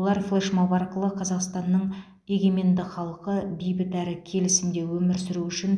олар флешмоб арқылы қазақстанның егеменді халқы бейбіт әрі келісімде өмір сүруі үшін